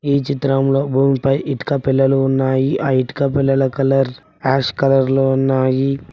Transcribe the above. ఈ చిత్రంలో భూమిపై ఇటుక పెల్లలు ఉన్నాయి ఆ ఇటుక పెల్లల కలర్ యాష్ కలర్ లో ఉన్నాయి.